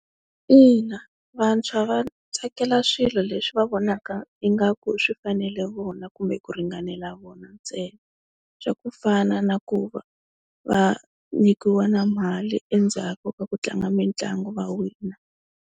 Ina vantshwa va tsakela swilo leswi va vonaka ingaku swi fanele vona kumbe ku ringanela vona ntsena, swa ku fana na ku va va nyikiwa na mali endzhaku ka ku tlanga mitlangu va wina.